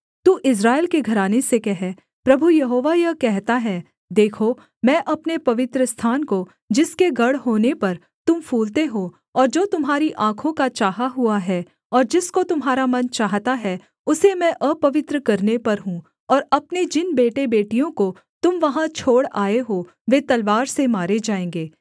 तू इस्राएल के घराने से कह प्रभु यहोवा यह कहता है देखो मैं अपने पवित्रस्थान को जिसके गढ़ होने पर तुम फूलते हो और जो तुम्हारी आँखों का चाहा हुआ है और जिसको तुम्हारा मन चाहता है उसे मैं अपवित्र करने पर हूँ और अपने जिन बेटेबेटियों को तुम वहाँ छोड़ आए हो वे तलवार से मारे जाएँगे